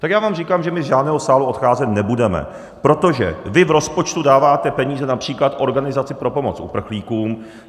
Tak já vám říkám, že my z žádného sálu odcházet nebudeme, protože vy v rozpočtu dáváte peníze například Organizaci pro pomoc uprchlíkům.